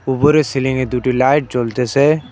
উপরে সিলিংয়ে দুটি লাইট জ্বলতেসে।